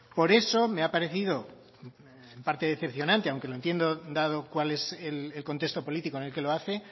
por eso me ha parecido en parte decepcionante aunque lo entiendo dado cuál es el contexto político en el que lo hace